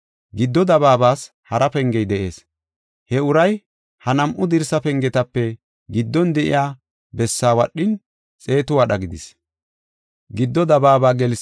Giddo dabaabas hara pengey de7ees. He uray ha nam7u dirsa pengetape giddon de7iya bessaa wadhin, xeetu wadha gidis.